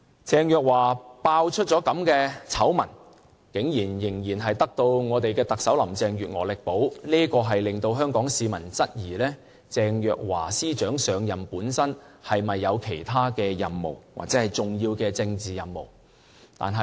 鄭若驊被揭發出如此醜聞，竟然仍然得到特首林鄭月娥力保，令香港市民質疑鄭若驊司長上任本身是否有其他任務，或者重要的政治任務。